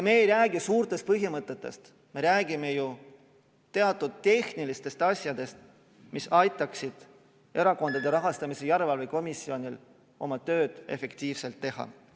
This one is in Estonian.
Me ei räägi suurtest põhimõtetest, me räägime ju teatud tehnilistest asjadest, mis aitaksid Erakondade Rahastamise Järelevalve Komisjonil oma tööd efektiivselt teha.